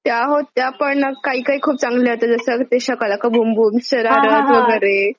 त्या होत्या पण काही काही खूप चांगल्या होत्या जस ते शकलाका बूम बूम शरारत हा हा हा वगैरे